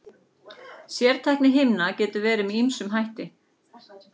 Sértækni himna getur verið með ýmsum hætti.